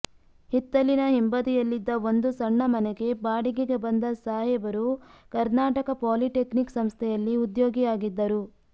ಹಿತ್ತಲಿನ ಹಿಂಬದಿಯಲ್ಲಿದ್ದ ಒಂದು ಸಣ್ಣ ಮನೆಗೆ ಬಾಡಿಗೆಗೆ ಬಂದ ಸಾಹೇಬರು ಕರ್ನಾಟಕ ಪೊಲಿಟೆಕ್ನಿಕ್ ಸಂಸ್ಥೆಯಲ್ಲಿ ಉದ್ಯೋಗಿಯಾಗಿದ್ದರು